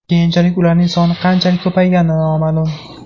Keyinchalik ularning soni qanchalik ko‘paygani noma’lum.